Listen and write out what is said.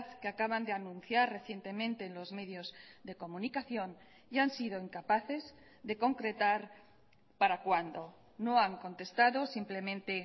que acaban de anunciar recientemente en los medios de comunicación y han sido incapaces de concretar para cuándo no han contestado simplemente